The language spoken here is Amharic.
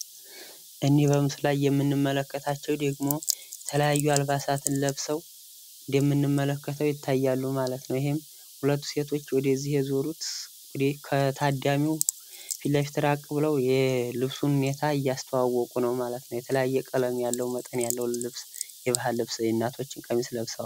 እኒህ በምስሉ ላይ የምንመለከታቸው ደግሞ የተለያዩ አልባሳትን ለብሰው እንደምንመለከተው ይታያሉ ማለት ነው። ይህም ሁለት ሴቶች ወደዚህ የዞሩት ከታዳሚው ፊት ለፊት ራቅ ብለው የልብሱን ሁኔታ እያስተዋወቁ ነው ማለት ነው። የተለያየ ቀለም ያለው መጠን ያለው ልብስ የባህል ልብስ የእናቶችን ቀሚስ ለብሰዋል።